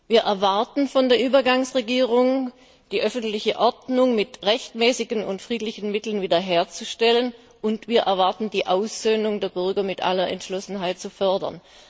Wir erwarten von der Übergangsregierung, dass sie die öffentliche Ordnung mit rechtmäßigen und friedlichen Mitteln wieder herstellt, und wir erwarten, dass sie die Aussöhnung der Bürger mit aller Entschlossenheit fördert.